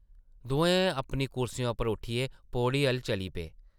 दोऐ अपनी कुर्सियें उप्परा उट्टियै पौड़ी अʼल्ल चली पे ।